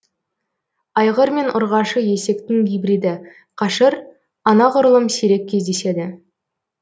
айғыр мен ұрғашы есектің гибриді қашыр анағұрлым сирек кездеседі